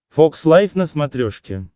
фокс лайф на смотрешке